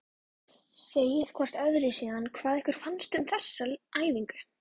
Segið hvort öðru síðan hvað ykkur fannst um þessa æfingu.